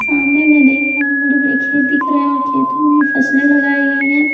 सामने मैं देख रहा हूं बड़े-बड़े खेत दिख रहे हैं और खेतों में फसलें लगाई गई हैं।